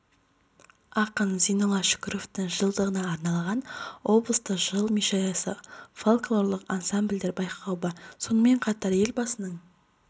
ақын зейнолла шүкіровтің жылдығына арналған облыстық жыр мүшәйрасы фольклорлық ансамбльдер байқауы бар сонымен қатар елбасының